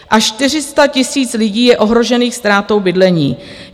Až 400 000 lidí je ohrožených ztrátou bydlení.